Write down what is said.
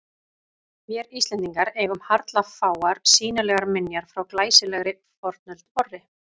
Vér Íslendingar eigum harla fáar sýnilegar minjar frá glæsilegri fornöld vorri.